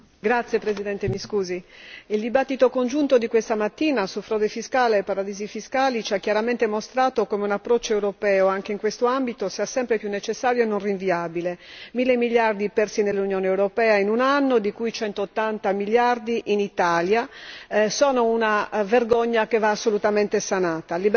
Signora Presidente, onorevoli colleghi, il dibattito congiunto di questa mattina su frode fiscale e paradisi fiscali ci ha chiaramente mostrato come un approccio europeo anche in quest'ambito sia sempre più necessario e non rinviabile. Mille miliardi persi nell'Unione europea in un anno, di cui 180 miliardi in Italia, sono una vergogna che va assolutamente sanata.